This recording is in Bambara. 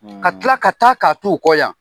Ka kila ka taa ka t'u kɔ yan.